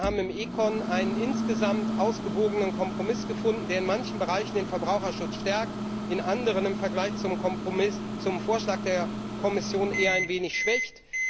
Wir haben im ECON einen insgesamt ausgewogenen Kompromiss gefunden, der in manchen Bereichen den Verbraucherschutz stärkt, in anderen im Vergleich zum Vorschlag der Kommission hingegen eher ein wenig schwächt.